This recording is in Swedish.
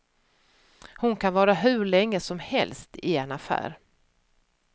Hon kan vara hur länge som helst i en affär.